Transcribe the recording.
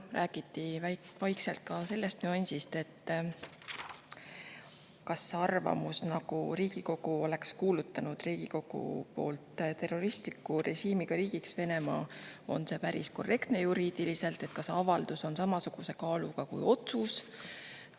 Räägiti ka sellest nüansist, kas see arvamus, nagu Riigikogu oleks kuulutanud Venemaa terroristliku režiimiga riigiks, on juriidiliselt päris korrektne, kas avaldus on samasuguse kaaluga kui otsus.